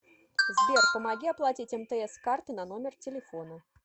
сбер помоги оплатить мтс с карты на номер телефона